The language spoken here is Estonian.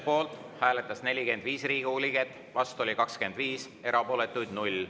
Poolt hääletas 45 Riigikogu liiget, vastu oli 25, erapooletuid 0.